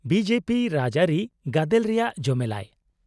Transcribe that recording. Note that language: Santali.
-ᱵᱤ ᱡᱮ ᱯᱤ ᱨᱟᱡᱽᱼᱟᱹᱨᱤ ᱜᱟᱫᱮᱞ ᱨᱮᱭᱟᱜ ᱡᱚᱢᱮᱞᱟᱭ ᱾